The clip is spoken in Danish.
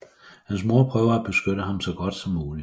Hans mor prøver at beskytte ham så godt som muligt